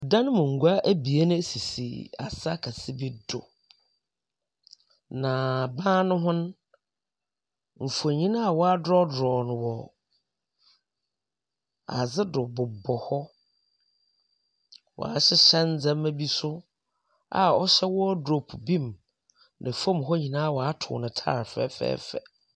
Dan mu ngua ebien sisi asa kɛse bi do. Na ban no ho no, mfonyin a wɔadrɔdrɔw no wɔ adze do bobɔ hɔ. Wɔahyehyɛ ndzɛmba bi so a ɔhyɛ wardrobe bi mu. Na famu hɔ nyina wɔatow no tiles fɛfɛɛfɛ.